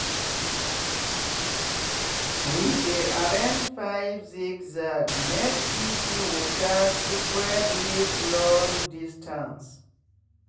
we dey arrange pipe zigzagmake e see water spread reach long distance.